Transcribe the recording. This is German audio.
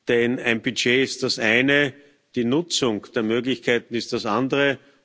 Denn ein Budget ist das eine, die Nutzung der Möglichkeiten ist das andere.